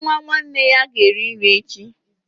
Nwa nwanne ya ga-eri nri echi